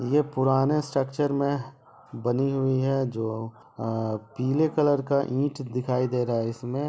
ये पुराने स्ट्रक्चर में बनी हुई है जो अ पीले कलर का ईंट दिखाई दे रहा है इसमे।